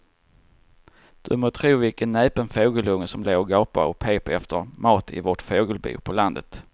Du må tro vilken näpen fågelunge som låg och gapade och pep efter mat i vårt fågelbo på landet.